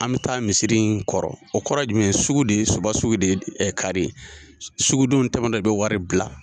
An bɛ taa misiri in kɔrɔ, o kɔrɔ ye jumɛn ye ? Sugu de ye, Suba sugu de ye kari ye, sugudon tɛmɛ tɔ i bɛ wari bila